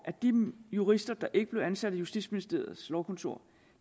at de jurister der ikke blev ansat i justitsministeriets lovkontor